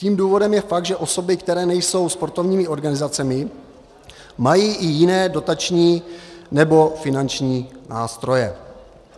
Tím důvodem je fakt, že osoby, které nejsou sportovními organizacemi, mají i jiné dotační nebo finanční nástroje.